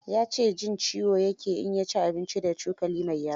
Ya ce jin ciyo ya ke in ya ci abinci da cokali mai yatsu.